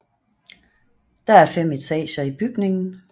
Der er fem etager i bygningen